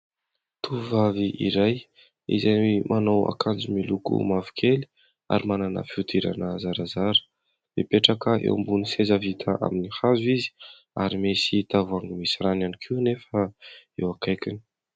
Tovovavy iray izay manao akanjo miloko mavokely ary manana fihodirana zarazara. Mipetraka eo ambonin'ny seza vita amin'ny hazo izy ary misy tavoahangy misy rano ihany koa nefa eo akaikiny.